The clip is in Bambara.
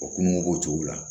O kungo b'o cogo la